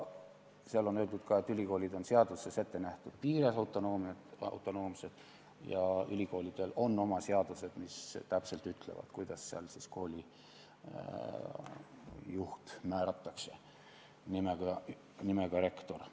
Seal on öeldud ka, et ülikoolid on seaduses ettenähtud piires autonoomsed ja ülikoolidel on oma seadused, mis täpselt ütlevad, kuidas siis määratakse koolijuht nimega rektor.